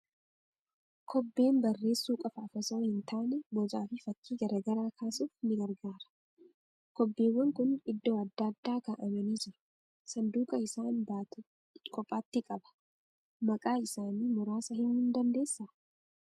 Kobbeen barreessuu qofaaf osoo hin taane bocaa fi fakkii garaa garaa kaasuuf ni gargaara. Kobbewwan kun iddoo adda addaa kaa'amanii jiru. Sanduuqa isaan baatu kophaatti qaba. Maqaa isaanii muraasa himuu ni dandeessaa?